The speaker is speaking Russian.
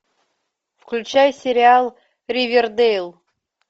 включай сериал ривердэйл